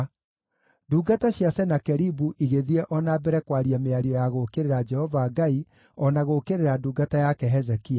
Ndungata cia Senakeribu igĩthiĩ o na mbere kwaria mĩario ya gũũkĩrĩra Jehova Ngai o na gũũkĩrĩra ndungata yake Hezekia.